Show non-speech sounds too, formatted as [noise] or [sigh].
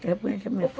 De repente [unintelligible]